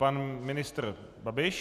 Pan ministr Babiš.